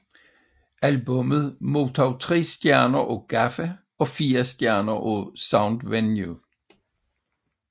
Albummet modtog tre stjerner af Gaffa og fire stjerner af Soundvenue